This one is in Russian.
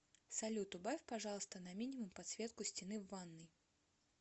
салют убавь пожалуйста на минимум подсветку стены в ванной